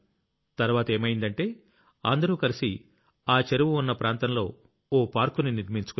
తర్వాతేమయ్యిందంటే అందరూ కలిసి ఆ చెరువు ఉన్న ప్రాంతంలో ఓ పార్కుని నిర్మించుకున్నారు